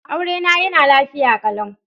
Aurena yana lafiya kalau.